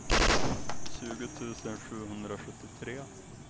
tjugo tusen sjuhundrasjuttiotre